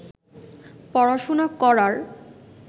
পড়াশোনা করার